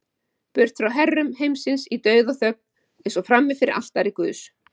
Burt frá herrum heimsins í dauðaþögn, eins og frammi fyrir altari guðs.